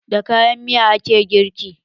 Da kayan miya ake girki.